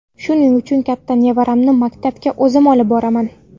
Shuning uchun katta nevaramni maktabga o‘zim olib boraman.